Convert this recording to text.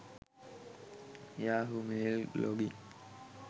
yahoo mail login